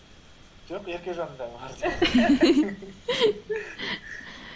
жоқ еркежанның дәмі бар сияқты